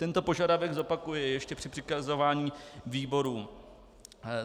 Tento požadavek zopakuji ještě při přikazování výborům.